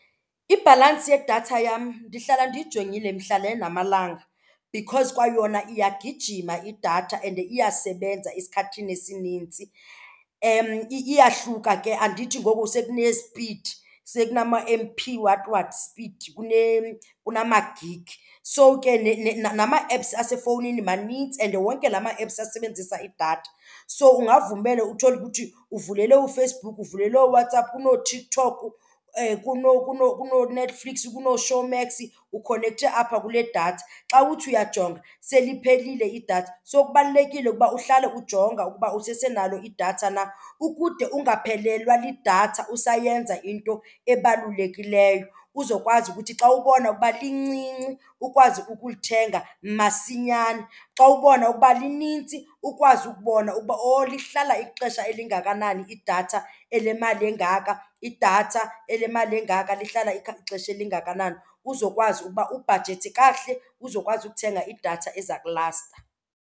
Ibhalansi yedatha yam ndihlala ndiyijongile mihla le namalanga because kwayona iyagijima idatha and iyasebenza esikhathini esinintsi. Iyahluka ke, andithi ngoku sekunesipidi, sekunama-M P what what speed kunama-gig. So ke nama-apps asefowunini manintsi and wonke la ma-apps asebenzisa idatha. So ungavumela uthole ukuthi uvulele, uFacebook uvulele, ooWhatsApp, kunooTikTok, kunooNetflix, kunooShowmax, ukhonekthe apha kule datha. Xa uthi uyajonga seliphelile idatha, so kubalulekile ukuba uhlale ujonga ukuba usesenalo idatha na ukude ungaphelelwa lidatha usayenza into ebalulekileyo. Uzokwazi ukuthi xa ubona ukuba lincinci ukwazi ukulithenga masinyane. Xa ubona ukuba linintsi ukwazi ukubona ukuba owu lihlala ixesha elingakanani idatha elemali engaka, idatha elemali engaka lihlala ixesha elingakanani. Uzokwazi ukuba ubhajethe kakuhle uzokwazi ukuthenga idatha eza kulasta.